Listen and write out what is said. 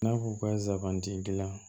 I n'a fɔ ka zabanti gilan